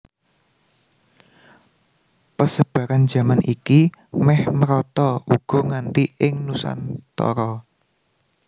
Pesebaran jaman iki méh merata uga nganti ing Nusantara